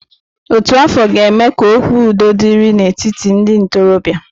Ótù afọ ga-eme ka okwu udo dịrị n'etiti ndị ntorobịa.